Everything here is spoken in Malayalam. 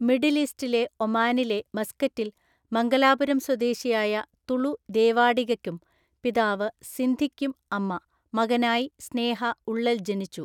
മിഡിൽ ഈസ്റ്റിലെ ഒമാനിലെ മസ്കറ്റിൽ മംഗലാപുരം സ്വദേശിയായ തുളു ദേവാഡിഗക്കും (പിതാവ്) സിന്ധിക്കും (അമ്മ) മകനായി സ്നേഹ ഉള്ളൽ ജനിച്ചു.